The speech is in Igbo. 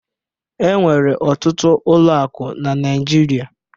E nwere ọtụtụ ụlọ akụ na Naijiria